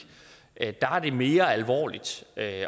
er det mere alvorligt at